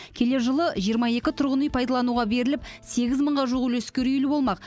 келер жылы жиырма екі тұрғын үй пайдалануға беріліп сегіз мыңға жуық үлескер үйлі болмақ